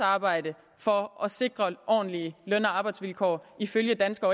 arbejde for at sikre ordentlige løn og arbejdsvilkår ifølge danske